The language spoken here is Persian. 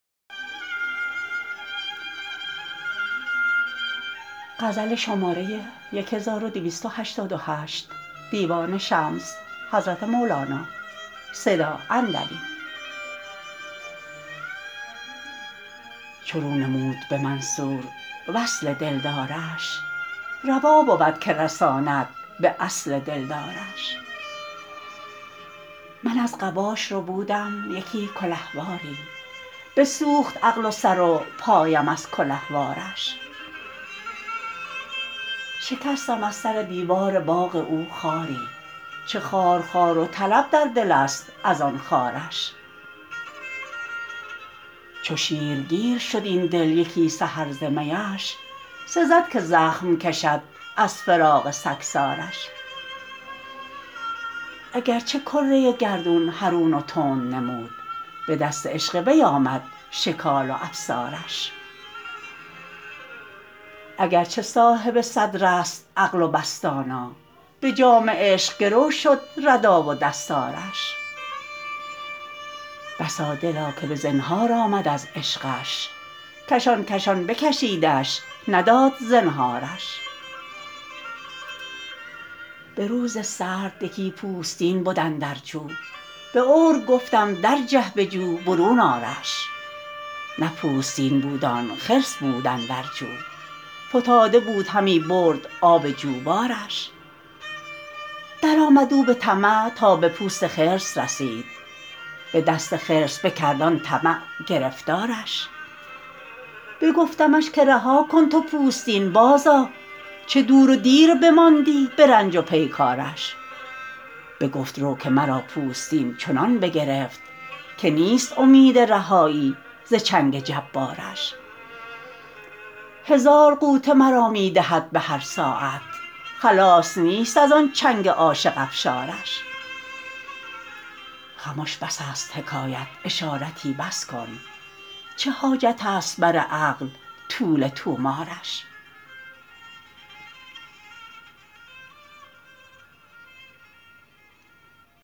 چو رو نمود به منصور وصل دلدارش روا بود که رساند به اصل دل دارش من از قباش ربودم یکی کلهواری بسوخت عقل و سر و پایم از کلهوارش شکستم از سر دیوار باغ او خاری چه خارخار و طلب در دلست از آن خارش چو شیرگیر شد این دل یکی سحر ز میش سزد که زخم کشد از فراق سگسارش اگر چه کره گردون حرون و تند نمود به دست عشق وی آمد شکال و افسارش اگر چه صاحب صدرست عقل و بس دانا به جام عشق گرو شد ردا و دستارش بسا دلا که به زنهار آمد از عشقش کشان کشان بکشیدش نداد زنهارش به روز سرد یکی پوستین بد اندر جو به عور گفتم درجه به جو برون آرش نه پوستین بود آن خرس بود اندر جو فتاده بود همی برد آب جوبارش درآمد او به طمع تا به پوست خرس رسید به دست خرس بکرد آن طمع گرفتارش بگفتمش که رها کن تو پوستین بازآ چه دور و دیر بماندی به رنج و پیکارش بگفت رو که مرا پوستین چنان بگرفت که نیست امید رهایی ز چنگ جبارش هزار غوطه مرا می دهد به هر ساعت خلاص نیست از آن چنگ عاشق افشارش خمش بس است حکایت اشارتی بس کن چه حاجتست بر عقل طول طومارش